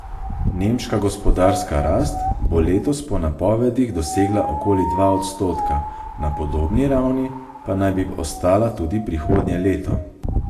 Nemška gospodarska rast bo letos po napovedih dosegla okoli dva odstotka, na podobni ravni pa naj bi ostala tudi prihodnje leto.